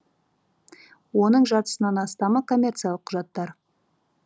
оның жартысынан астамы коммерциялық құжаттар